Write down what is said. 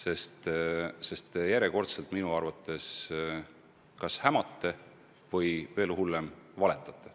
Praegu te järjekordselt minu arvates kas hämate või veel hullem, valetate.